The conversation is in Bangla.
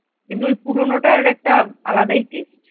কিন্তু ওই পুরোনোটার একটা আলাদাই taste